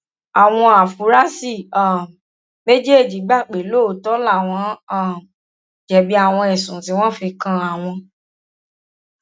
àwọn áfúrásì um méjèèjì gbà pé lóòótọ làwọn um jẹbi àwọn ẹsùn tí wọn fi kan àwọn